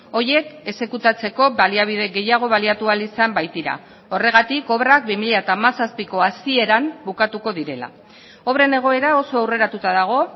horiek exekutatzeko baliabide gehiago baliatu ahal izan baitira horregatik obrak bi mila hamazazpiko hasieran bukatuko direla obren egoera oso aurreratuta dago